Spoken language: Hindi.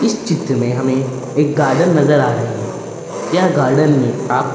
इस चित्र में हमें एक गार्डन नजर आ रही है यह गार्डन में आप --